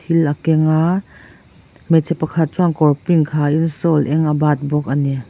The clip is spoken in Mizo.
thil a keng a hmeichhe pakhat chuan kawr sen dang ha in sawl eng a bat bawk ani.